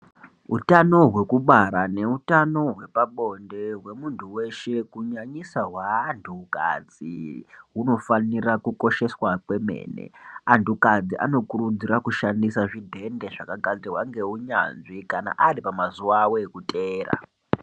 Utano hwekubara neutano hwepabonde hwemuntu weshe kunyanyisa hweantukadzi hunofanire kukosheswa kwemene antukadzi anokurudzirwa kushandisa zvidhende zvakagadzirwa ngeunyanzvi kana ari pamazuwa awo ekuteera.